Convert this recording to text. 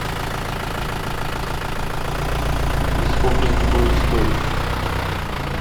и сколько это будет стоить